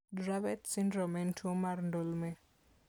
Dravet syndrome en tuwo mar ndulme.